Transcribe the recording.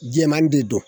Jɛman de don